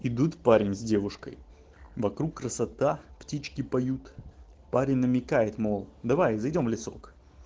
идут парень с девушкой вокруг красота птички поют парень намекает мол давай зайдём в лесок